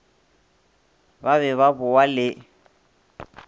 ba be ba bowa le